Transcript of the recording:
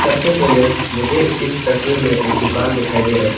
से पहले मुझे इस तस्वीर में एक दुकान दिखाई दे रहा है।